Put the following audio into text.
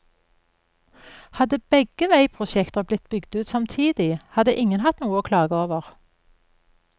Hadde begge veiprosjekter blitt bygd ut samtidig, hadde ingen hatt noe å klage over.